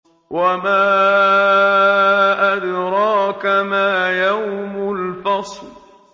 وَمَا أَدْرَاكَ مَا يَوْمُ الْفَصْلِ